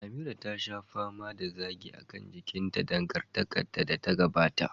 Amira ta sha fama da zagi kan jikinta a dangantakarta da ta gabata.